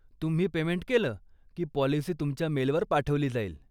तुम्ही पेमेंट केलं की पॉलिसी तुमच्या मेलवर पाठवली जाईल.